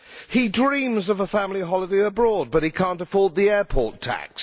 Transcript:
He dreams of a family holiday abroad, but he cannot afford the airport tax.